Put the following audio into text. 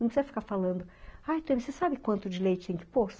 Não precisa ficar falando, ai, você sabe quanto de leite que tem que pôr?